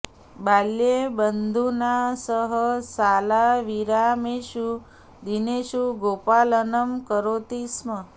बाल्ये बन्धुना सह शालाविरामेषु दिनेषु गोपालनं करोति स्म